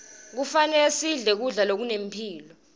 kufanele sidle kudla lokunemphilo